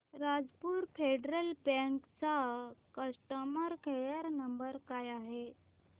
Rajapur federal bank चा customer care number काय आहे